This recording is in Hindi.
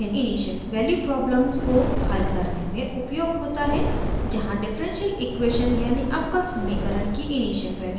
यह इनिशियल वैल्यू प्रॉब्लम्स को हल करने में उपयोग होता है जहाँ डिफरेंशियल इक्वेशन यानि अवकल समीकरण की इनिशियल वैल्यूज़ दी होती हैं